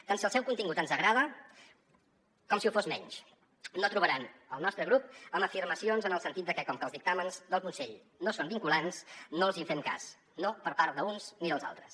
tant si el seu contingut ens agrada com si ho fa menys no trobaran el nostre grup en afirmacions en el sentit de que com que els dictàmens del consell no són vinculants no els hi fem cas no per part d’uns ni dels altres